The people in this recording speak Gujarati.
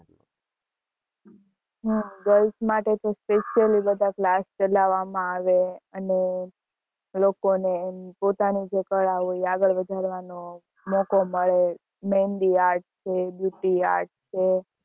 હ girls માં તો special class ચલાવા માં આવે અને લોકો ને પોતાની જ કળા હોય એ આગળ વધાર નો મોકો મળે મેહંદી art છે art છે